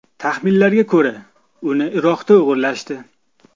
Taxminlarga ko‘ra, uni Iroqda o‘g‘irlashdi.